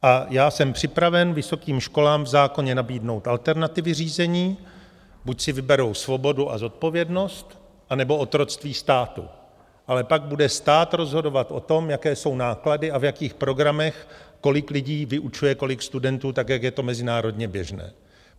A já jsem připraven vysokým školám v zákoně nabídnout alternativy řízení - buď si vyberou svobodu a zodpovědnost, anebo otroctví státu, ale pak bude stát rozhodovat o tom, jaké jsou náklady a v jakých programech kolik lidí vyučuje kolik studentů tak, jak je to mezinárodně běžné.